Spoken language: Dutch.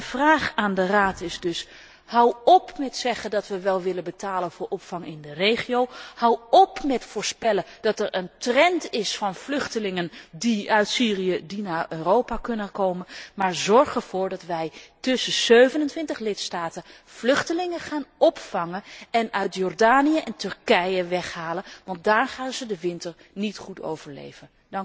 Mijn opmerking aan de Raad is dus hou op met zeggen dat we wel willen betalen voor opvang in de regio, hou op met voorspellen dat het een trend wordt om als vluchteling uit Syrië naar Europa te komen, maar zorg ervoor dat wij met 27 lidstaten vluchtelingen gaan opvangen en uit Jordanië en Turkije gaan weghalen, want daar gaan ze de winter niet goed overleven.